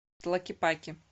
тлакепаке